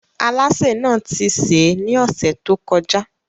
Alásè náà ti sè é ní ọ̀sẹ̀ tó kọjá.